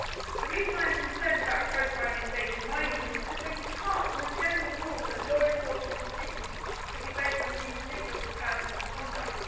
The reason I am concerned about profiling and data mining is because they depart from the general rule that law enforcement decisions should be based on an individual's personal conduct.